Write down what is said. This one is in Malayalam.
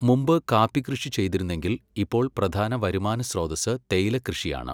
മുമ്പ് കാപ്പി കൃഷി ചെയ്തിരുന്നെങ്കിൽ ഇപ്പോൾ പ്രധാന വരുമാനസ്രോതസ്സ് തേയില കൃഷിയാണ്.